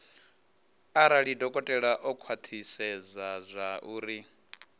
arali dokotela o khwathisedza zwauri